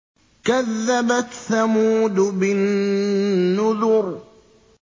كَذَّبَتْ ثَمُودُ بِالنُّذُرِ